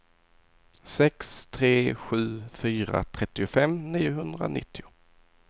sex tre sju fyra trettiofem niohundranittio